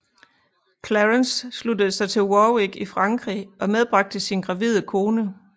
Clarence sluttede sig til Warwick i Frankrig og medbragte sin gravide kone